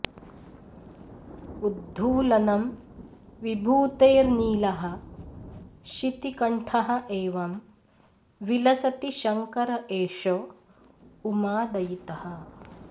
उद्धूलनं विभूतेर्नीलः शितिकण्ठः एवम् विलसति शंकर एष उमादयितः